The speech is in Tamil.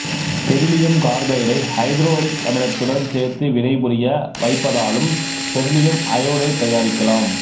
பெரிலியம் கார்பைடை ஐதரயோடிக்கமிலத்துடன் சேர்த்து வினைபுரிய வைப்பதாலும் பெரிலியம் அயோடைடு தயாரிக்கலாம்